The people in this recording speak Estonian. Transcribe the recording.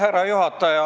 Austatud juhataja!